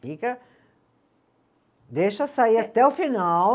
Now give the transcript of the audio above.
Fica, deixa sair até o final.